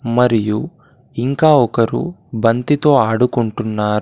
మరియు ఇంకా ఒకరు బంతితో ఆడుకొంటున్నారు.